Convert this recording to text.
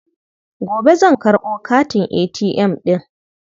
Gobe zan karɓo katin ATM ɗin.